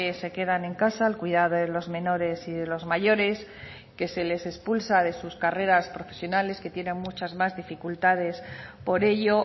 se quedan en casa al cuidado de los menores y de los mayores que se les expulsa de sus carreras profesionales que tienen muchas más dificultades por ello